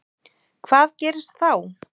Hvað gerist þá?